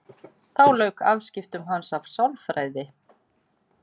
Þá lauk afskiptum hans af sálfræði.